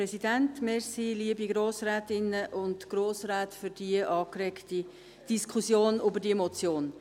Vielen Dank für die angeregte Diskussion über diese Motion.